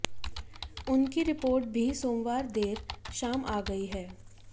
उनकी रिपोर्ट भी सोमवार देर शाम आ गई है